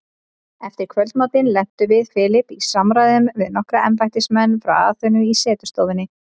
Eftir kvöldmatinn lentum við Philip í samræðum við nokkra embættismenn frá Aþenu í setustofunni.